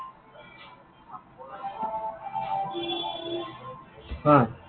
অ।